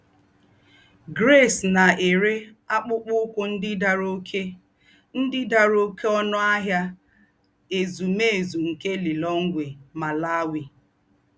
Grace nà-éré àkụ́pụ́kpọ́ úkwù ndí́ dàrá óké ndí́ dàrá óké ònù n’Áhịà Ézùmézù nké Lilongwe, Malawi.